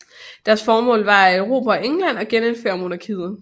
Deres formål var at erobre England og genindføre monarkiet